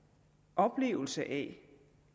oplevelsen af at